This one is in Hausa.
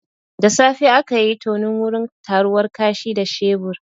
Da safe akayi tonon wurin taruwar kashi da shebur